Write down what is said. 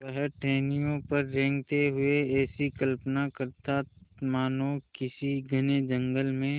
वह टहनियों पर रेंगते हुए ऐसी कल्पना करता मानो किसी घने जंगल में